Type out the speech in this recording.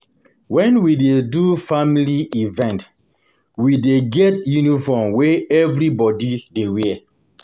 Wen we dey do family event, we dey get uniform wey everybodi dey wear.